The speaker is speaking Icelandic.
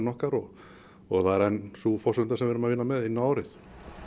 okkar og og það er enn sú forsenda sem við erum að vinna með inn á árið